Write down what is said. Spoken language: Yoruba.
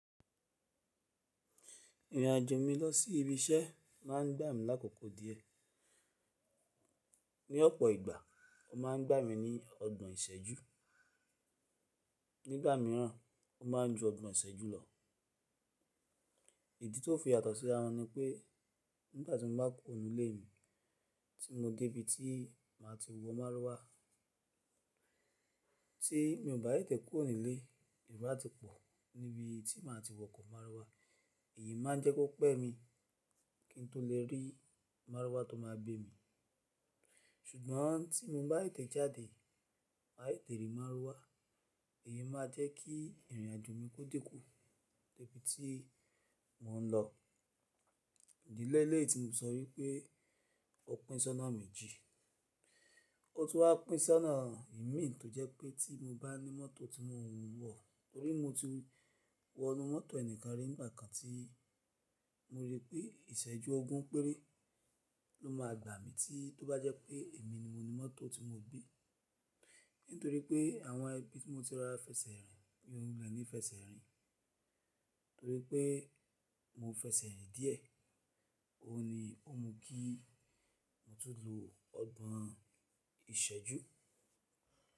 Ìrìnàjò mi lọ sí ibi iṣẹ́ má a ń gbà mí lákòókò díẹ̀. Ni ọ̀pọ̀ ìgbà, ó má a ń gbà mí ní ọgbọ̀n ìṣẹ́jú, nígbà míràn ó má a ń ju ọgbọ̀n ìṣẹ́jú lọ. Ìdí tó fi yàtọ̀ síra won ni pé nígbà tí mo bá kùro ninu ilé mi tí mo dé ibi tí màá ti wọ Marwa, tí mo bá tẹ̀te kúrò nílé, eró á ti pọ̀ níbi tí màá ti wọkọ̀ Màrwá. Èyí má a ń jẹ́ kó pẹ́ mi kí n tó lè rí Màrwá tó máa gbé mi. Ṣùgbọ́n tí mo bá tẹ̀te jáde, má tètè rí Màrwá, èyí máa jẹ́ kí ìrìnàjò mi ó dínkù dé ibi tí mò ń lọ. Ìdí léléyi tí mo fi sọ wípé ó pín ṣọ́nà méjì, ó tún wá pín ṣọ́nà imií tó jẹ́ pé tí mo bá ní mọ́tò tí mo ń wọ̀, torí mo ti wọ inú mọ́tò ẹnìkan rí nígbà kan tí mo rí pé ìṣẹ́jú ogún péré ló máa gbà mí tí tó bá jẹ́ pé èmi ni mo ní mọ́tò tí mo bí. Nítorí pé àwọn ibi tí mo ti rorà fẹsẹ̀ rìn ni mi o wule ní fẹsẹ̀ rìn. Torí pé mo fẹsẹ̀ rìn díẹ̀, òun ni ó mú kí mo tún lo ọgbọ̀n ìṣẹ́jú.